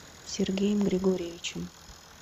сергеем григорьевичем